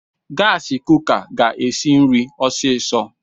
Gaasi kuka ga-esi nri ọsiisọ.